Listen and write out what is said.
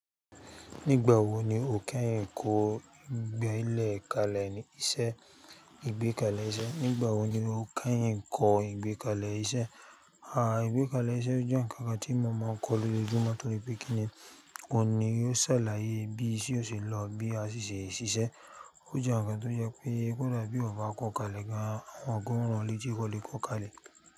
Nígbà wo ni o kẹ́yìn kọ́ ìgbélẹ̀ kalẹ̀ ní iṣẹ́ ìgbé kalẹ̀ iṣẹ́? Nígbà wo ni o kẹ́yìn kọ́ ìgbé kalẹ̀ iṣẹ́? À, ìgbé kalẹ̀ iṣẹ́ ó jẹ́ ǹkan kan tí mo máa ń kọ́ lójoojúmọ́, torí pé kínni òhun ni yóò ṣàlàyé bí iṣẹ́ ò ṣe lọ bí a ṣì ṣe ṣiṣẹ́. Ó jẹ́ ǹkan tó jẹ́ pé kò dà bí èèyàn ò bá kọ́ kalẹ̀ gan, àwọn kan ó rán ọ létí kò lè kọ́ kalẹ̀.